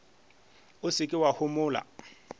o se ke wa homola